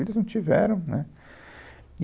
Eles não tiveram, né.